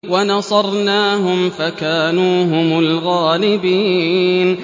وَنَصَرْنَاهُمْ فَكَانُوا هُمُ الْغَالِبِينَ